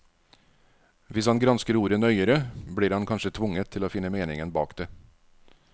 Hvis han gransker ordet nøyere, blir han kanskje tvunget til å finne meningen bak det.